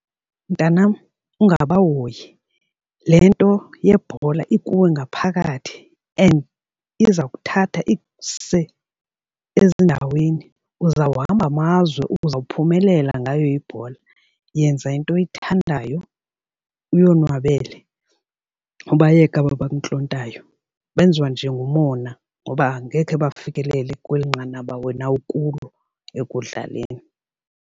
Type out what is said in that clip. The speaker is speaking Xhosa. Mntanam, ungabahoyi. Le nto yebhola ikuwe ngaphakathi and iza kuthatha ikuse ezindaweni. Uzawuhamba amazwe uzawuphumelela ngayo ibhola. Yenza kugqirha into oyithandayo uyonwabele ubayeke aba bakuntlontayo benziwa nje ngumona ngoba angekhe bafikelele kweli nqanaba wena ukulo ekudlaleni.